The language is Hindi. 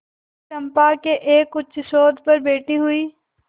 चंपा के एक उच्चसौध पर बैठी हुई